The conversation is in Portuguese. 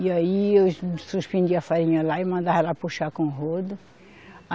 E aí eu suspendi a farinha lá e mandava ela puxar com o rodo.